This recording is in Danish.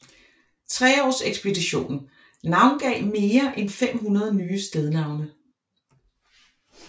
Treaarsekspeditionen navngav mere end 500 nye stednavne